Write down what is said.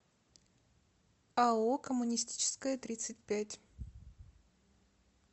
ао коммунистическая тридцать пять